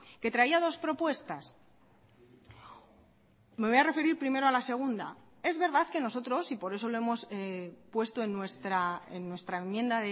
que traía dos propuestas me voy a referir primero a la segunda es verdad que nosotros y por eso lo hemos puesto en nuestra enmienda